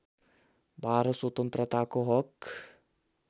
१२ स्वतन्त्रताको हक